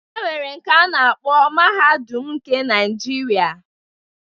E nwere nke a na-akpọ Mahadum nke Naijiria.